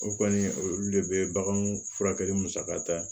O kɔni olu de be bagan furakɛli musaka ta